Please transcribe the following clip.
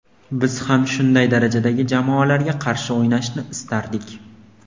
Biz ham shunday darajadagi jamoalarga qarshi o‘ynashni istardik.